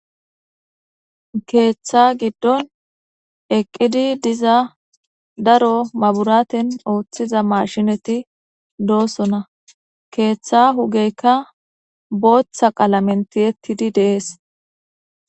Keeththa giddon eqqidi diza daro maburaaten ooththiza maashinati doosona keeththa hugeykka booththa qalamenti ettidi de'ees.